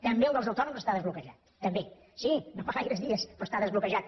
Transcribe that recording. també el dels autònoms està desbloquejat també sí no fa gaires dies però està desbloquejat